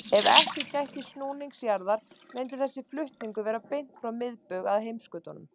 Ef ekki gætti snúnings jarðar myndi þessi flutningur vera beint frá miðbaug að heimskautunum.